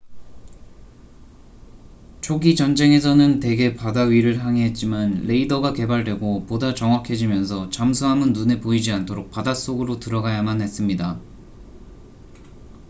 초기 전쟁에서는 대개 바다 위를 항해했지만 레이더가 개발되고 보다 정확해지면서 잠수함은 눈에 보이지 않도록 바닷속으로 들어가야만 했습니다